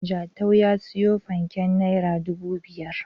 Jatau ya siyo fanken naira dubu biyar.